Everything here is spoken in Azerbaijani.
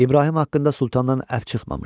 İbrahim haqqında sultandan əfv çıxmamışdı.